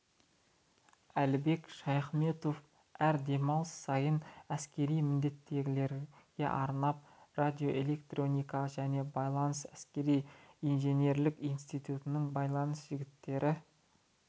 әлібек шаяхметов әр демалыс сайын әскери міндеттегілерге арнап радиоэлектроника және байланыс әскери-инженерлік институтының байланыс жігіттері